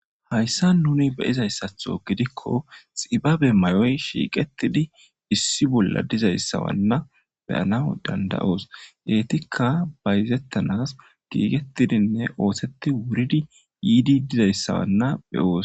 Hayssa nuni beyizayssatho gidikko xibabe may7oy shiiqettidi issi bolla dizayssawanna beyana dandayoos geytikka bayzettanas giigettidinne ooseti wuridi yiidi dizayssawanna beyoos.